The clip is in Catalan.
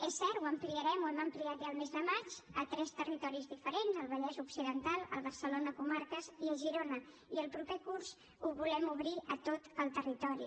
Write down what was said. és cert ho ampliarem ho hem ampliat ja al mes de maig a tres territoris diferents al vallès occidental a barcelona comarques i a girona i el proper curs ho volem obrir a tot el territori